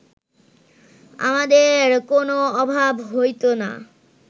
আমাদের কোন অভাব হইত না